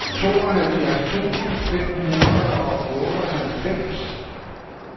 tooghalvfjerds tusind fem hundrede og otteoghalvfems